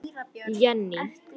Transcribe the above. Jenný